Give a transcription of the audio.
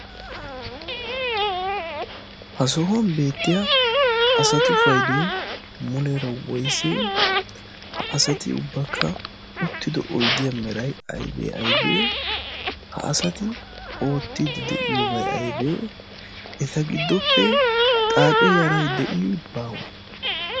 ha sohuwan beettiya asatu paidoi muleera woise? ha asati ubbakka uttido oidiyaa merai aibee aibee?ha asati oottiidi de7iyoobai aibee? eta giddoppe xaace yarai de7i baawe?